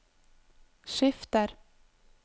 skifter